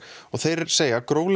og þeir segja að gróflega